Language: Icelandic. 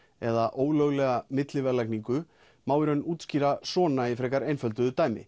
eða ólöglega milliverðlagningu má í raun útskýra svona í frekar einföldu dæmi